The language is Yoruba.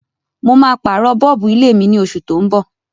Mo ma pàrọ̀ bulb ilé mí ni osù to n bọ̀